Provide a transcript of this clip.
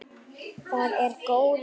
Það er góður tími.